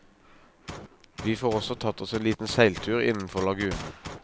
Vi får også tatt oss en liten seiltur innenfor lagunen.